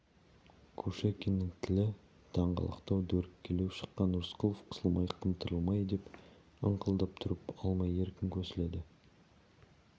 кушекиннің тілі даңғалақтау дөрекілеу шыққан рысқұлов қысылмай қымтырылмай деп ыңқылдап тұрып алмай еркін көсіледі